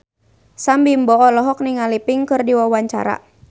Sam Bimbo olohok ningali Pink keur diwawancara